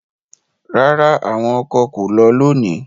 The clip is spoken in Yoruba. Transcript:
Rara, awọn ọkọ ko lọ loni